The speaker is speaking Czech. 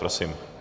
Prosím.